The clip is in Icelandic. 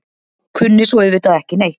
Kunni svo auðvitað ekki neitt.